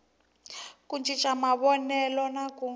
ku cinca mavonelo na ku